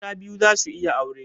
Mata biyu za su iya aure?